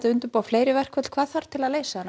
að undirbúa fleiri verkföll hvað þarf til að leysa þennan